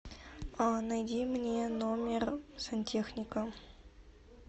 найди мне номер сантехника